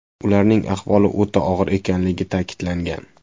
Ularning ahvoli o‘rta og‘ir ekanligi ta’kidlangan.